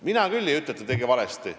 Mina küll ei ütle, et ta tegi valesti.